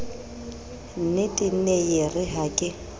nnetee nee yeere ha ke